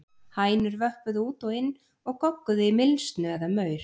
Hænur vöppuðu út og inn og gogguðu í mylsnu eða maur.